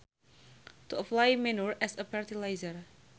To apply manure as a fertilizer